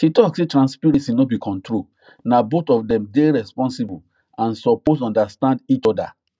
she talk say transparency no be control na both of them day responsible and suppose understand each other